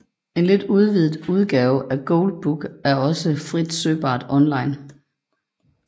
En lidt udvidet udgave af Gold Book er også frit søgbart online